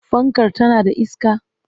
Fankar tana da iska?